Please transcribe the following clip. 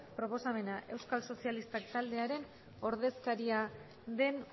ebazpena euskal sozialistak taldearen ordezkaria den